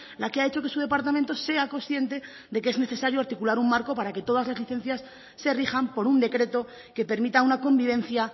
la que ha hecho que su departamento sea consciente de que es necesario articular un marco para que todas las licencias se rijan por un decreto que permita una convivencia